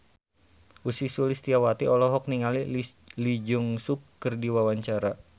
Ussy Sulistyawati olohok ningali Lee Jeong Suk keur diwawancara